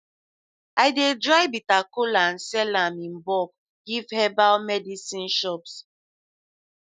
i dey dry bitter kola and sell am in bulk give herbal medicine shops